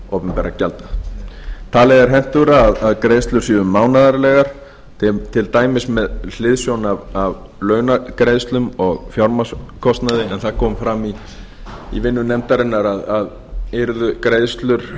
opinberra gjalda talið er hentugra að greiðslurnar séu mánaðarlegar til dæmis með hliðsjón af launagreiðslum og fjármagnskostnaði en það kom fram í vinnu nefndarinnar að yrðu greiðslur